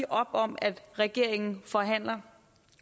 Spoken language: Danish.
op om at regeringen forhandler